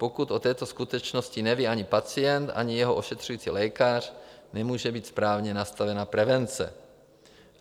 Pokud o této skutečnosti neví ani pacient, ani jeho ošetřující lékař, nemůže být správně nastavena prevence.